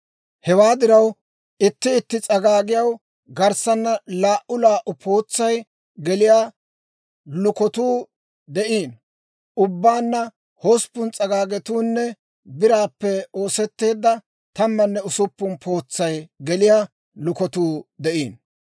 Hewaa diraw itti itti s'agaagiyaw garssanna laa"u laa"u pootsay geliyaa lukatuu de'iino; ubbaanna hosppun s'agaagetuunne biraappe ooseteedda tammanne usuppun pootsay geliyaa lukatuu de'iino.